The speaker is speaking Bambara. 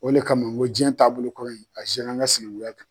O le kama o ko jiɲɛ taabolo kuru in a zera an ka sinɛnguya kan